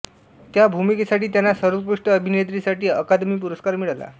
त्या भूमिकेसाठी त्यांना सर्वोत्कृष्ट अभिनेत्रीसाठी अकादमी पुरस्कार मिळाला